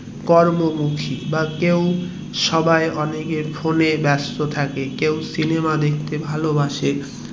কর্মমুখী বা কেউ সবার অনেকের phone এ ব্যাস্ত থাকে কেউ সিনেমা দেখতে ভালোবাসে